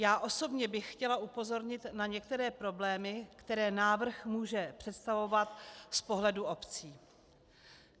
Já osobně bych chtěla upozornit na některé problémy, které návrh může představovat z pohledu obcí.